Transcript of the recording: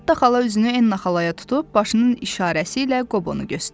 Netta xala üzünü Enna xalaya tutub başının işarəsi ilə Qobonu göstərdi.